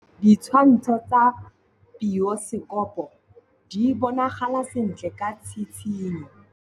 Ditshwantshô tsa biosekopo di bonagala sentle ka tshitshinyô.